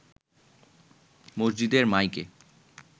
মসজিদের মাইকে